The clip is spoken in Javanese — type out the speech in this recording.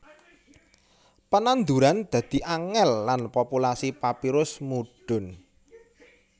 Pananduran dadi angèl lan populasi papirus mudhun